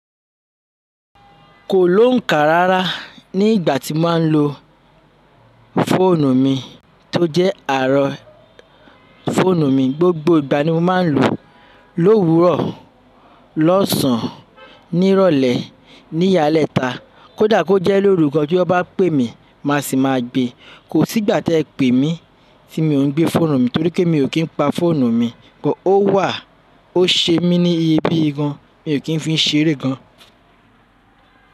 Kò lóǹkà rárá ní ìgbà tí mo máa ń lo fóònù mi tó jẹ́ àárọ̀ fóònù mi. Gbogbo ìgbà ni mo máa ń lò ó lówurọ̀, lọ́sàn án, ní ìrọ̀lẹ́, ní yalẹ́ta. Kódà kó jẹ́ lórúgan tí wọ́n bá pè mí, màá sì máa gbe. Kò sí ìgbà tí ẹ pè mí tí mi ò ń gbé fóònù mi torí pé mi ò kí n pa fóònù mi. But ó wà. Ó ṣe mí ní iyebíye gan. Mi ò kí ń fi ń seré gan.